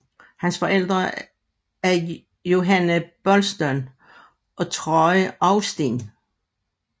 Hans forældre er Johannah Poulston og Troy Austin